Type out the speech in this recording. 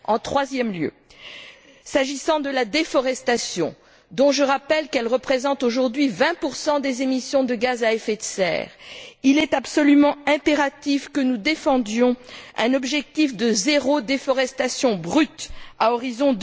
En troisième lieu, s'agissant de la déforestation, dont je rappelle qu'elle représente aujourd'hui 20 des émissions de gaz à effet de serre, il est absolument impératif que nous défendions un objectif de zéro déforestation brute à l'horizon